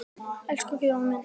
Elsku Guðjón minn.